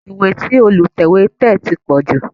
Ìwé tí Olùtẹ̀wé tẹ̀ ti pọ̀ jù